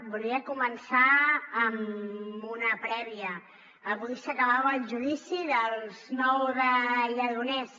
volia començar amb una prèvia avui s’acabava el judici d’ els nou de lledoners